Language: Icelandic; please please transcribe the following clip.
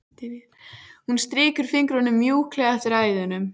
Hún strýkur fingrunum mjúklega eftir æðunum.